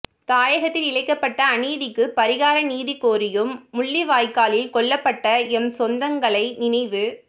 தாயகத்தில் இழைக்கப்பட்ட அநீதிக்கு பரிகார நீதி கோரியும் முள்ளிவாய்க்காலில் கொல்லப்பட்ட எம் சொந்தங்களை நினைவு